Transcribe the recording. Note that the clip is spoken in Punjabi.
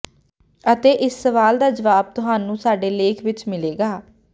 ਅਤੇ ਇਸ ਸਵਾਲ ਦਾ ਜਵਾਬ ਤੁਹਾਨੂੰ ਸਾਡੇ ਲੇਖ ਵਿਚ ਮਿਲੇਗਾ